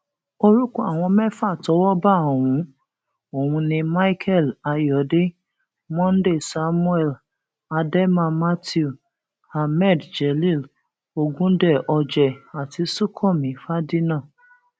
orúkọ àwọn mẹfà tọwọ bá ọhún ọhún ni michael ayọdẹ monday samuel ademma matthew hammed jelil ogundẹ ojeh àti sunkànmí fàdínà